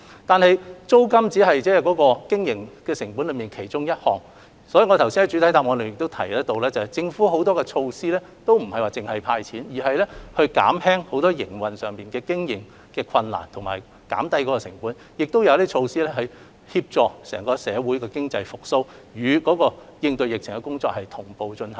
然而，租金只是經營成本之一，所以我剛才已在主體答覆中提出，政府亦推行了很多其他措施，在"派錢"之餘同時力求減輕商戶的經營困難和成本，以及推出措施協助整體社會的經濟復蘇，並與應對疫情的工作同步進行。